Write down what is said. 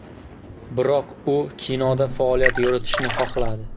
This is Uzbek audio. Biroq u kinoda faoliyat yuritishni xohladi.